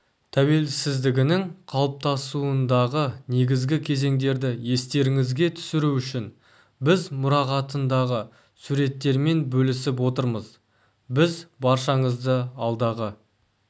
тәуелсіздігінің қалыптасуындағы негізгі кезеңдерді естеріңізге түсіру үшін біз мұрағатындағы суреттермен бөлісіп отырмыз біз баршаңызды алдағы